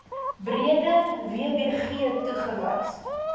breede wbg toegewys